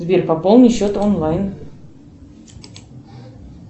сбер пополни счет онлайн